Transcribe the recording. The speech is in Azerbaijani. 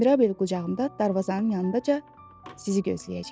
Mirabel qucağımda darvazanın yanındaca sizi gözləyəcəyəm.